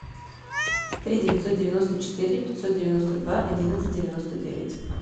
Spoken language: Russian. три девятьсот девяносто четыре пятьсот девяносто два одиннадцать девяносто девять